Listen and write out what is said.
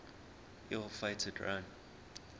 ill fated run